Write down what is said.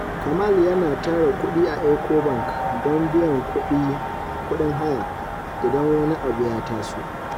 Kamal yana tara kudi a Ecobank don biyan kudin haya idan wani abu ya taso.